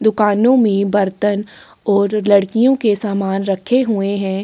दुकानों में बर्तन और लड़कियों के सामान रखे हुए है।